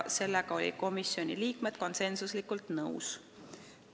Sellega olid komisjoni liikmed üksmeelselt nõus.